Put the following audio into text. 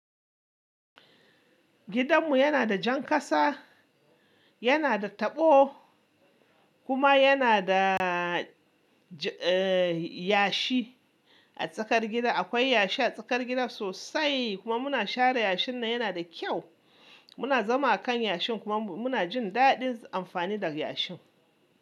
Gidanmu yana da jan kasa, yana da taɓo kuma yana da yashi a tsakar gida. Akwai yashi a tsakar gida sosai kuma muna share yashin nan yana da kyau. Muna zama a kan yashin kuma muna jin daɗin amfani da yashin.